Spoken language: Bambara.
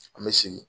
An bɛ segin